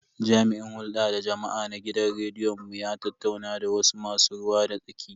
Jami'in hulda da jama'a na gidan rediyon mu ya tattauna da wasu masu ruwa da tsaki.